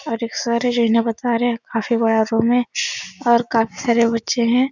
और एक सर हैं जो इन्हें बता रहे हैं। काफी बड़ा रूम है और काफी सारे बच्चे हैं।